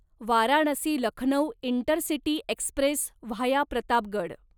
Varanasi Lucknow intercity express via Pratapgad